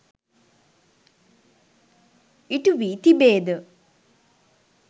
ඉටු වී තිබේද?